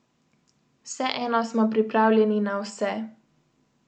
Vseeno smo pripravljeni na vse!